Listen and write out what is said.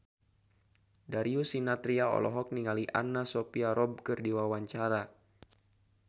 Darius Sinathrya olohok ningali Anna Sophia Robb keur diwawancara